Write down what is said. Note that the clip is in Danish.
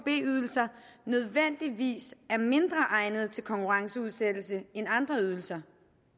b ydelser nødvendigvis er mindre egnede til konkurrenceudsættelse end andre ydelser